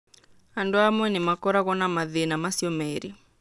Andũ amwe nĩ makoragũo na mathĩĩna macio merĩ.